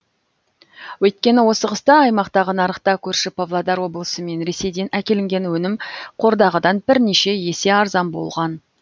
өйткені осы қыста аймақтағы нарықта көрші павлодар облысы мен ресейден әкелінген өнім қордағыдан бірнеше есе арзан болған